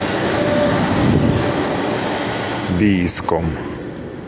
бийском